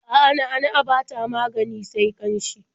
A'a, na'a-na'a ba ta magani sai ƙanshi.